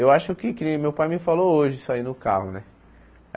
Eu acho que, que nem meu pai me falou hoje isso aí no carro, né?